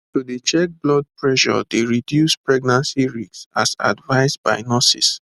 to dey check blood pressure dey reduce pregnancy risks as advised by nurses